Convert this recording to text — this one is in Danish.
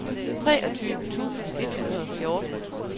treogtyve tusind et hundrede og fjorten